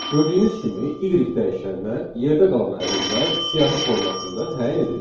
Gördüyünüz kimi y dəyişəninə yerdə qalan ədədlər siyahı formasında təyin edildi.